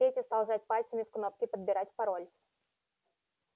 петя стал жать пальцами в кнопки подбирать пароль